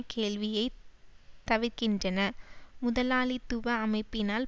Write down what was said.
கேள்வியை தவிர்க்கின்றன முதலாளித்துவ அமைப்பினால்